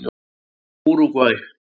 Úrúgvæ